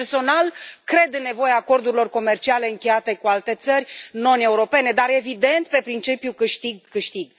Personal, cred în nevoia acordurilor comerciale încheiate cu alte țări non europene, dar, evident, pe principiul câștig câștig.